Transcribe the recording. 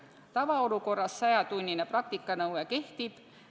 Tavaolukorras sajatunnine praktikanõue kehtib.